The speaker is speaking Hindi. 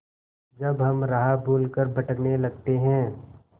जब हम राह भूल कर भटकने लगते हैं